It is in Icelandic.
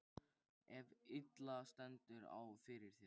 ef illa stendur á fyrir þér.